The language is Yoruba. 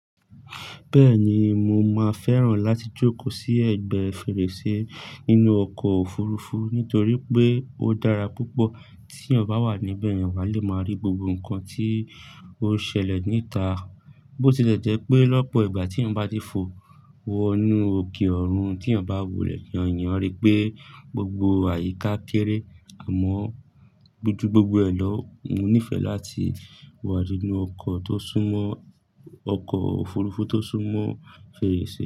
Bẹ́ẹ̀ni, mo máa fẹ́ràn láti jókòó sí ẹ̀gbẹ́ fèrèsé nínú ọkọ̀ òfurufú nítorí pé ó dára púpọ̀ tí ọ̀ bá wà níbẹ̀, ẹni à lé máa rí gbogbo nǹkan tí ó ṣẹlẹ̀ níta. Bo tilẹ̀ jẹ́ pé lọ́pọ̀ ìgbà tí ọ̀ bá dé fò wọ inú òkè ọ̀run tí ọ̀ bá wò lẹ̀yàn, ìyẹn rí pé gbogbo àyíká kéré àmọ́ jù gbogbo elọ̀ mo nífẹ̀ẹ́ láti wà nínú ọkọ́ tó súmọ́, ọkọ́ òfurufú tó súmọ́ fèrèsé.